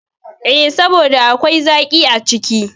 E, saboda akwai zaƙi a ciki.